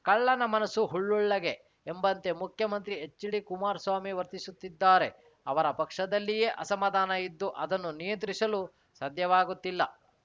ಕಳ್ಳನ ಮನಸು ಹುಳ್ಳುಳ್ಳಗೆ ಎಂಬಂತೆ ಮುಖ್ಯಮಂತ್ರಿ ಎಚ್‌ಡಿಕುಮಾರಸ್ವಾಮಿ ವರ್ತಿಸುತ್ತಿದ್ದಾರೆ ಅವರ ಪಕ್ಷದಲ್ಲಿಯೇ ಅಸಮಾಧಾನ ಇದ್ದು ಅದನ್ನು ನಿಯಂತ್ರಿಸಲು ಸಾಧ್ಯವಾಗುತ್ತಿಲ್ಲ